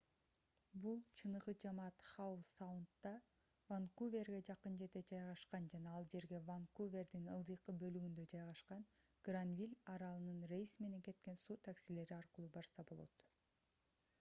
бул чыныгы жамаат хау саундда ванкуверге жакын жерде жайгашкан жана ал жерге ванкувердин ылдыйкы бөлүгүндө жайгашкан гранвиль аралынан рейс менен кеткен суу таксилери аркылуу барса болот